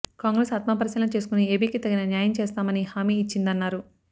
కాంగ్రెస్ ఆత్మపరిశీలన చేసుకుని ఏపీకి తగిన న్యాయం చేస్తామని హామీ ఇచ్చిందన్నారు